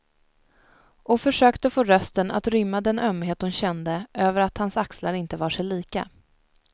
Och försökte få rösten att rymma den ömhet hon kände över att hans axlar inte var sig lika.